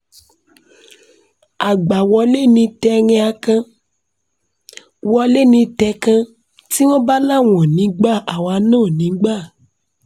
àgbà-wọlé ni tẹ̀ẹ̀rín akàn-wọ́lẹ̀ ní tẹ̀ẹ̀kan tí wọ́n bá láwọn ò ní í gba àwa náà ò ní í gbà